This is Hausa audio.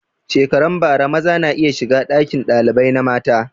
Shekaran bara maza na iya shiga ɗakin ɗalibai na mata